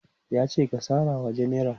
yace "ka sarawa jenera!